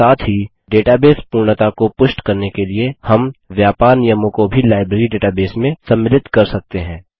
साथ ही डेटाबेस पूर्णता को पुष्ट करने के लिए हम व्यापार नियमों को भी लाइब्रेरी डेटाबेस में सम्मिलित कर सकते हैं